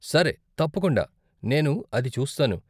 సరే, తప్పకుండా, నేను అది చూస్తాను.